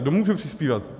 Kdo může přispívat?